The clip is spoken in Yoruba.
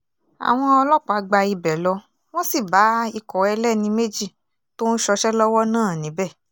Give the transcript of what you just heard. àwọn ọlọ́pàá gba ibẹ̀ lọ wọ́n sì bá ikọ̀ ẹlẹ́ni méjì tó ń ṣọṣẹ́ lọ́wọ́ náà níbẹ̀